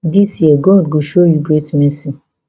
dis year god go show you great mercy